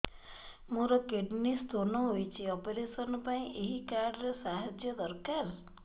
ମୋର kidney stone ହଇଛି operation ପାଇଁ ଏହି କାର୍ଡ ର ସାହାଯ୍ୟ ଦରକାର